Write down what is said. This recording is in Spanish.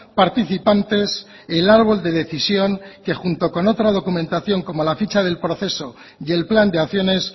participantes el árbol de decisión que junto con otra documentación como la ficha del proceso y el plan de acciones